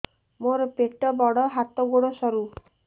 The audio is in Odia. ମୋର ପେଟ ବଡ ହାତ ଗୋଡ ସରୁ